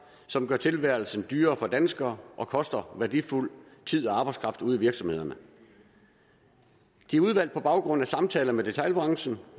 som gør tilværelsen dyrere for danskere og koster værdifuld tid og arbejdskraft ude i virksomhederne de er udvalgt på baggrund af samtaler med detailbranchen